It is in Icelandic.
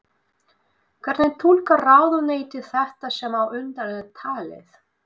Hvernig túlkar ráðuneytið þetta sem á undan er talið?